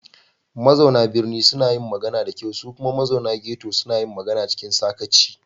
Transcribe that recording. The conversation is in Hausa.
Mazauna birni suna yin magana da kyau kuma mazauna ghetto suna magana cikin sakaci.